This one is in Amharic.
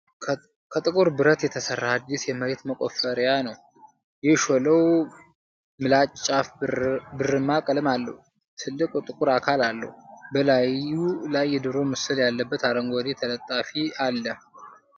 ከጥቁር ብረት የተሠራ አዲስ የመሬት መቆፈሪያ ነው። የሾለው ምላጭ ጫፍ ብርማ ቀለም አለው፣ ትልቅ ጥቁር አካል አለው። በላዩ ላይ የዶሮ ምስል ያለበት አረንጓዴ ተለጣፊ አለ።